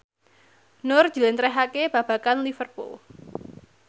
Nur njlentrehake babagan Liverpool